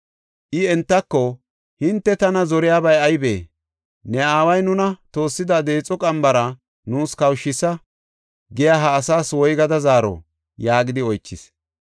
I entako, “Hinte tana zoriyabay aybee? ‘Ne aaway nuna toossida deexo qambara nuus kawushisa’ giya ha asaas woygada zaaro?” yaagidi oychis.